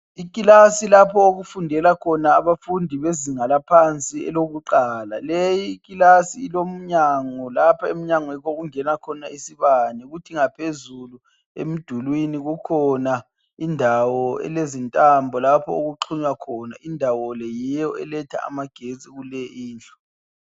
Ikilasi lapho okufundela khona abafundi bezinga laphansi elokuqala. Leyi kilasi ilomnyanga laphemnyango yikho okungena khona isibane kuthi ngaphezulu emdulini kukhona indawo elezintambo okuxunywa khona. Indawo le yiyo elatha amagetsi kuyonale kindlu.